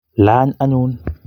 lany anyun